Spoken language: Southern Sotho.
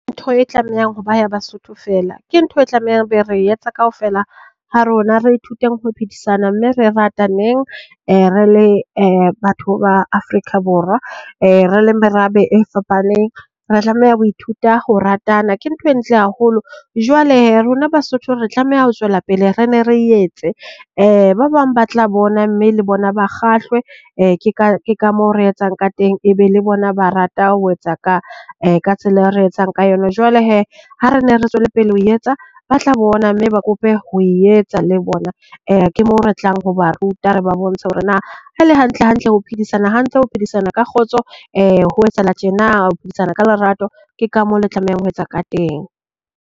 Ntho e tlamehang ho ba ya Basotho feela, ke ntho e tlamehang ebe re e etsa kaofela ha rona re ithuteng ho phedisana mme re rataneng re le batho ba Afrika Borwa. Re le merabe e fapaneng re tlameha ho ithuta ho ratana, ke ntho e ntle haholo. Jwale rona Basotho re tlameha ho tswela pele re ne re e etse ba bang ba tla bona mme le bona ba kgahlwe ke ka ke ka moo re etsang ka teng ebe le bona ba rata ho etsa ka ka tsela e re etsang ka yona. Jwale hee ha re ne re tswele pele ho etsa ba tla bona mme ba kope ho e etsa le bona. Ke moo re tlang ho ba ruta re ba bontshe hore na haele hantle hantle ho phedisana hantle, ho phedisana ka kgotso, ho etsahala tjena ho phedisana ka lerato. Ke ka mo le tlamehang ho etsa ka teng.